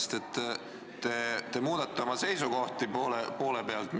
Sellepärast, et te muudate oma seisukohti poole pealt.